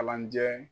Kalanjɛ